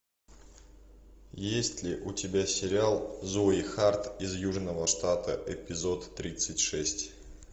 есть ли у тебя сериал зои харт из южного штата эпизод тридцать шесть